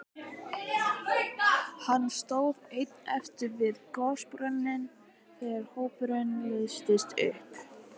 Hann stóð einn eftir við gosbrunninn þegar hópurinn leystist upp.